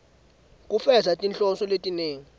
kufeza tinhloso letinengi